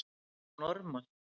Að vera normal